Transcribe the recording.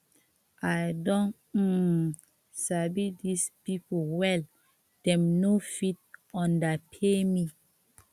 i don um sabi dis people well dem no fit underpay me